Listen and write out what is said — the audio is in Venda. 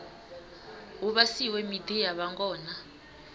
hu vhasiwe miḓi ya vhangona